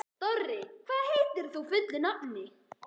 Dorri, hvað heitir þú fullu nafni?